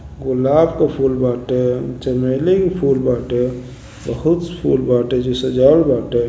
गुलाब का फूल बाटे। चमेली का फूल बाटे। बहुत फूल बाटे। सजावल बाटे।